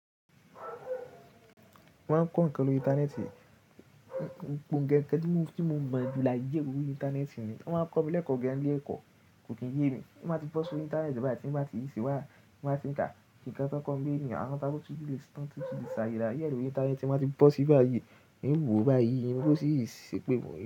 Wọ́n máa ń kọ́ ǹkan lórí Íńtánẹ́ẹ̀tì, gbogbo ǹkan tí mo mọ̀ jù láyé gbogbo Íńtánẹ́ẹ̀tì ni. Wọ́n máa ń kọ́ mi lẹ́kọ̀ọ́ gan ni ile ẹkọ, kò kí n yé mi. Tí n ba tí bọ́ sí ori Íńtánẹ́ẹ̀tì bàyìí tí ń bá tí ṣi bàyìí, ti n ba tí ń ka nnkan tọ kọ́ n bi niyi, awọn ta kọ tí lílì days, tán tí sa alaye ẹ lori Íńtánẹ́ẹ̀tì tí wọ́n ti bọ́ sí báyìí, hin wò ó bá yíí, hin o sì ṣépè fun yin.